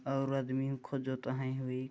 और आदमी खो जाता है ऊई--